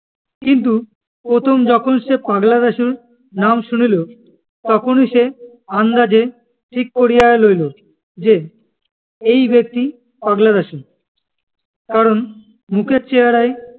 কিন্তু প্রথম যখন সে পাগলা দাশুর নাম শুনিল, তখনই সে আন্দাজে ঠিক করিযা লইল যে, এই ব্যক্তি পাগলা দাশু। কারণ মুখের চেহারায়,